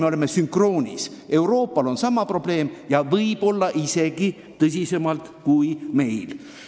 Me oleme muu maailmaga sünkroonis: Euroopal on sama probleem ja võib-olla väljendub see isegi tõsisemalt kui meil.